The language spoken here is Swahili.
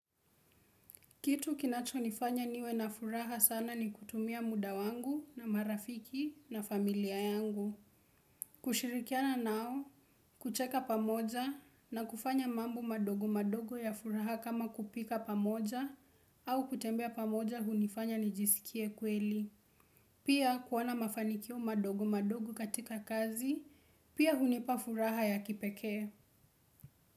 Kitu kinachonifanya niwe na furaha sana ni kutumia muda wangu na marafiki na familia yangu. Kushirikiana nao, kucheka pamoja na kufanya mambo madogo madogo ya furaha kama kupika pamoja au kutembea pamoja hunifanya nijisikie kweli. Pia kuona mafanikio madogo madogo katika kazi, pia hunipa furaha ya kipekee.